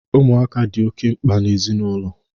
Ụmụaka dị oke mkpa na ezinaụlọ.